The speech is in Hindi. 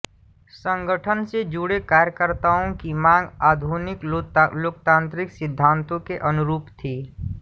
संगठन से जुड़े कार्यकर्ताओं की मांग आधुनिक लोकतांत्रिक सिद्धांतों के अनुरूप थीं